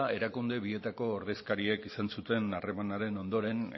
erakunde bietako ordezkariek izan zuten harremanaren ondoren